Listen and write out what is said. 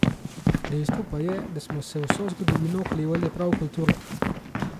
Dejstvo pa je, da smo se vso zgodovino oklepali prav kulture.